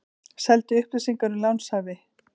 Seldi upplýsingar um lánshæfi